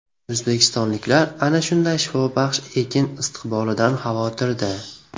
O‘zbekistonliklar ana shunday shifobaxsh ekin istiqbolidan xavotirda.